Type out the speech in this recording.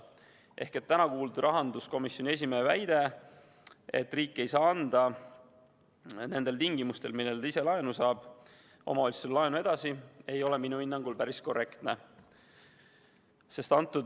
Ehk täna kuuldud rahanduskomisjoni esimehe väide, et riik ei saa anda nendel tingimustel, millega ta ise laenu saab, omavalitsustele laenu edasi, ei ole minu hinnangul päris korrektne.